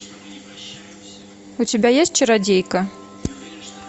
у тебя есть чародейка